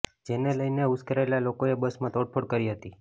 જેને લઈને ઉશ્કેરાયેલા લોકોએ બસમાં તોડફોડ કરી હતી